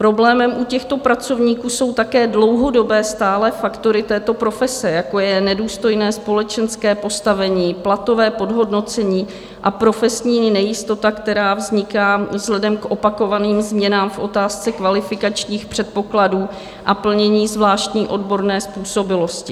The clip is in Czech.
Problémem u těchto pracovníků jsou také dlouhodobé stále faktory této profese, jako je nedůstojné společenské postavení, platové podhodnocení a profesní nejistota, která vzniká vzhledem k opakovaným změnám v otázce kvalifikačních předpokladů a plnění zvláštní odborné způsobilosti.